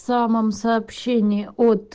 самом сообщение от